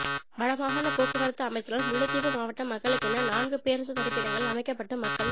வடமாகாண போக்குவரத்து அமைச்சினால் முல்லைத்தீவு மாவட்ட மக்களுக்கென நான்கு பேருந்து தரிப்பிடங்கள் அமைக்கப்பட்டு மக்கள்